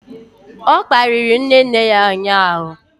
O kparịrị nne nne ya ụnyahụ.